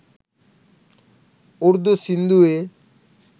Urdu සින්දුවේ.